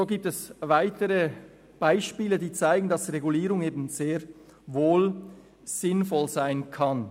So gibt es weitere Beispiele, die zeigen, dass Regulierung sehr wohl sinnvoll sein kann.